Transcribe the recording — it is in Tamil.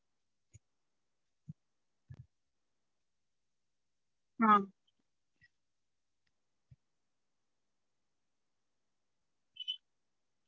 ஆஹ்